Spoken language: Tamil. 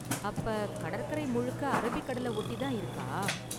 அப்ப, கடற்கரை முழுக்க அரபிக்கடலை ஒட்டி தான் இருக்கா?